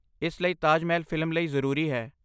ਇਸ ਲਈ, ਤਾਜ ਮਹਿਲ ਫਿਲਮ ਲਈ ਜ਼ਰੂਰੀ ਹੈ।